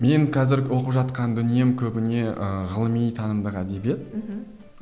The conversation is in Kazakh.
мен қазір оқып жатқан дүнием көбіне ыыы ғылыми танымдық әдебиет мхм